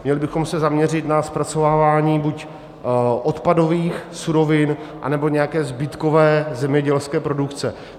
Měli bychom se zaměřit na zpracovávání buď odpadových surovin, nebo nějaké zbytkové zemědělské produkce.